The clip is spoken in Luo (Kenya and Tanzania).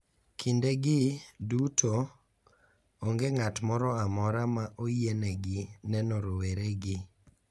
Kindegi duto onge ng`at moro amora ma oyienegi neno roweregi.